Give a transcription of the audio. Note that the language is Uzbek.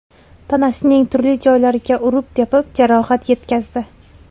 tanasining turli joylariga urib-tepib, jarohat yetkazdi.